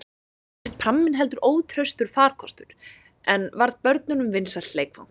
Reyndist pramminn heldur ótraustur farkostur, en varð börnunum vinsælt leikfang.